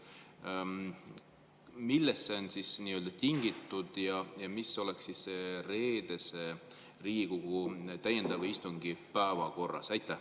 Millest on see tingitud ja mis oleks selle reedese täiendava Riigikogu istungi päevakorras?